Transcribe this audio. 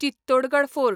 Chittorgarh fort